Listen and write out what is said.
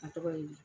A tɔgɔ ye di